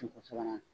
sabanan